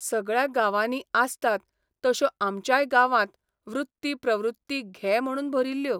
सगळ्या गांवांनी आसतात तश्यो आमच्याय गांवांत वृत्ती प्रवृत्ती घे म्हणून भरिल्ल्यो.